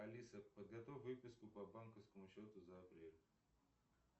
алиса подготовь выписку по банковскому счету за апрель